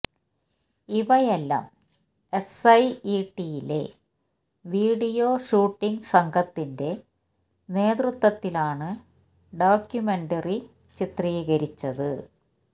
ഇവയെല്ലാം S I E T യിലെ video shooting സംഘത്തിന്റെ നേതൃത്വത്തിലാണ് ഡോക്യുമെൻററി ചിത്രീകരിച്ചത്